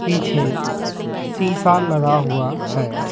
पीछे शीशा लगा हुआ है।